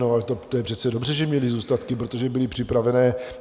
No to je ale přece dobře, že měly zůstatky, protože byly připravené.